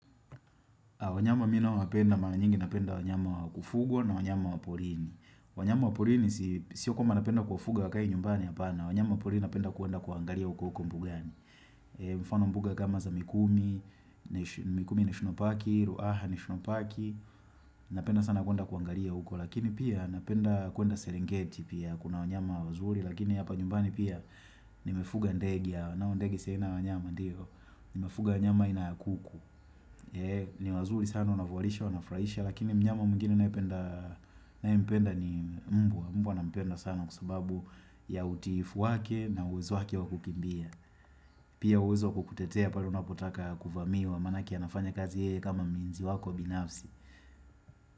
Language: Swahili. Wanyama mi naowapenda, mara nyingi napenda wanyama wakufuga na wanyama waporini. Wanyama wa porini sio kwamba napenda kuwafuga wakae nyumbani hapana wanyama wa porini napenda kuenda kuwaangalia uko huko mbugani. Mfano mbuga kama za mikumi, mikumi national paki, ruaha national paki, napenda sana kuenda kuangalia uko. Lakini pia napenda kuenda serengeti pia, kuna wanyama wazuri, lakini hapa nyumbani pia nimefuga ndege yao. Nao ndege si aina ya wanyama ndiyo, nimefuga wanyama aina ya kuku. Ni wazuri sana, wanavualisha, wanafurahisha, lakini mnyama mwigine nae mpenda ni mbwa. Mbwa nampenda sana kwa sababu ya utiifu wake na uwezo wake wa kukimbia. Pia uwezo wa kukutetea pale unapotaka kuvamiwa manake anafanya kazi yeye kama mlinzi wako binafsi.